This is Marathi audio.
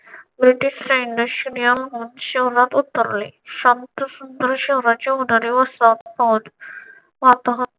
ब्रिटिश सैन्य अशियम महोत्सव क्षणात उतरले. संत सुद्धा शहराच्या उन्हाने व